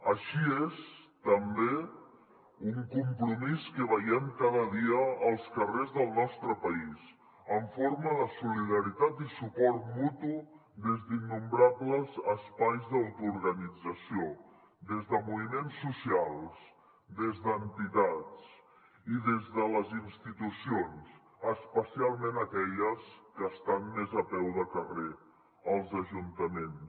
així és també un compromís que veiem cada dia als carrers del nostre país en forma de solidaritat i suport mutu des d’innombrables espais d’autoorganització des de moviments socials des d’entitats i des de les institucions especialment d’aquelles que estan més a peu de carrer els ajuntaments